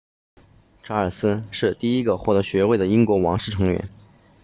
查尔斯是第一个获得学位的英国王室成员